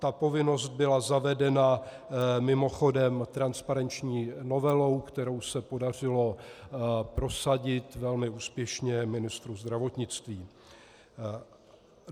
Ta povinnost byla zavedena mimochodem transparenční novelou, kterou se podařilo prosadit velmi úspěšně ministru zdravotnictví.